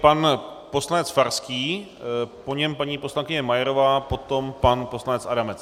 Pan poslanec Farský, po něm paní poslankyně Majerová, potom pan poslanec Adamec.